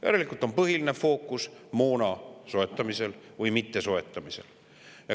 Järelikult on põhiline fookus moona soetamisel või mittesoetamisel.